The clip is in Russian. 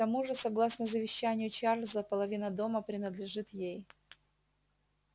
к тому же согласно завещанию чарлза половина дома принадлежит ей